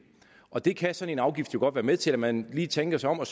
og det kan sådan en afgift jo godt være med til altså at man lige tænker sig om og